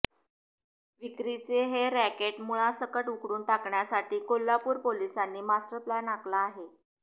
विक्रीचे हे रॅकेट मूळासकट उखडून टाकण्यासाठी कोल्हापूर पोलिसांनी मास्टरप्लॅन आखला आहे